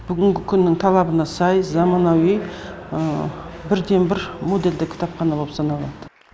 бүгінгі күннің талабына сай заманауи бірден бір модульді кітапхана болып саналады